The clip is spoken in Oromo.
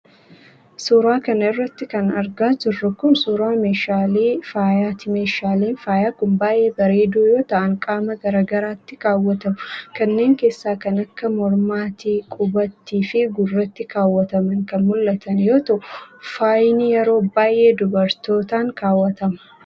Suura kana irratti kan argaa jirru kun ,suura meeshaalee faayaati. Meeshaaleen faayaa kun baay'ee bareedoo yoo ta'an qaama garaa garaatti kaawwatamu. Kanneen keessa kan akka :mormati, qubatti fi gurratti kaawwataman kan mul'atan yoo ta'u, faayni yeroo baay'ee dubartootaan kaawwatama.